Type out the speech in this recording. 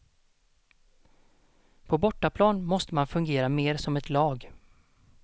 På bortaplan måste man fungera mer som ett lag.